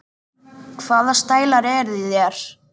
Hvaða stælar eru í þér?